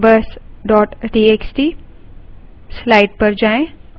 numbers dot txt